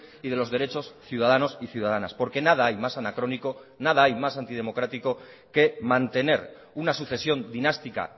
y de los derechos ciudadanos y ciudadanas porque nada hay más anacrónico nada hay más antidemocrático que mantener una sucesión dinástica